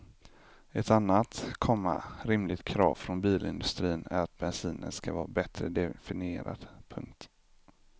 Ett annat, komma rimligt krav från bilindustrin är att bensinen ska vara bättre definierad. punkt